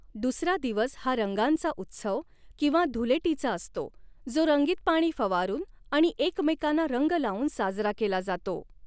दुसरा दिवस हा रंगांचा उत्सव किंवा 'धुलेटी' चा असतो, जो रंगीत पाणी फवारून आणि एकमेकांना रंग लावून साजरा केला जातो.